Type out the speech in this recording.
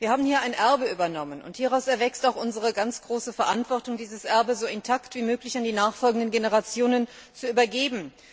Wir haben hier ein Erbe übernommen. Und hieraus erwächst auch unsere ganz große Verantwortung, dieses Erbe so intakt wie möglich an die nachfolgenden Generationen zu übergeben.